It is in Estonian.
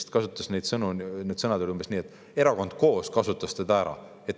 Minu arvates olid tema sõnad umbes sellised, et erakond Koos kasutas teda ära.